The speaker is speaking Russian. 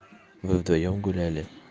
вы вдвоём гуляли